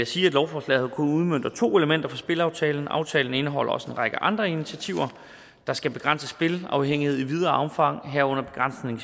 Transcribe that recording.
sige at lovforslaget kun udmønter to elementer fra spilaftalen aftalen indeholder også en række andre initiativer der skal begrænse spilafhængighed i videre omfang herunder begrænsning